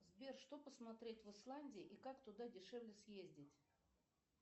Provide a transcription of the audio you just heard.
сбер что посмотреть в исландии и как туда дешевле съездить